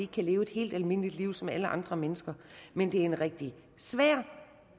kan leve et helt almindeligt liv som alle andre mennesker men det er en rigtig svær